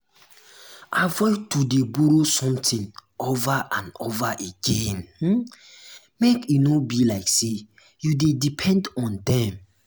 avoid to de borrow something over and over again um make e no um be like say you de depend on dem